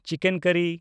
chicken ᱠᱟᱨᱤ